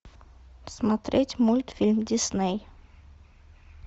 смотреть мультфильм дисней